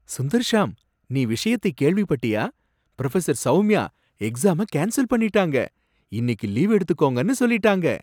சுந்தர்ஷாம், நீ விஷயத்தை கேள்விப்பட்டியா? ப்ரொஃபசர் சௌமியா எக்ஸாம கேன்சல் பண்ணிட்டாங்க, இன்னிக்கு லீவ் எடுத்துக்கோங்கன்னு சொல்லிட்டாங்க.